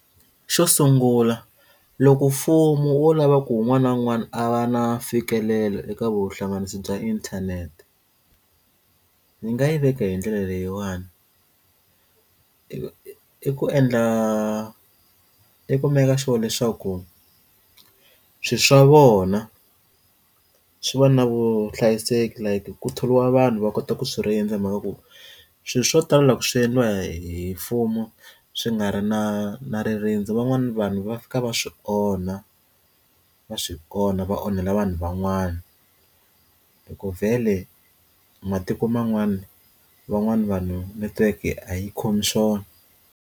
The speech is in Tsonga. Xo sungula loko mfumo wo lava ku wun'wana na wun'wana a va na mfikelelo eka vuhlanganisi bya inthanete ni nga yi veka hi ndlela leyiwani i ku endla i ku meka sure leswaku swilo swa vona swi va na vuhlayiseki like ku thoriwa vanhu va kota ku swi rindza mhaka ku swilo swo tala swi endliwa hi mfumo swi nga ri na na ririndzo van'wana vanhu va fika va swi onha va swi ona va onhela vanhu van'wana hi ku vhele matiko man'wana van'wani vanhu netiweke a yi khomi swona.